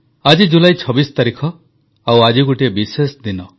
ଆଜି ଜୁଲାଇ 26 ତାରିଖ ଆଉ ଆଜି ଗୋଟିଏ ବିଶେଷ ଦିନ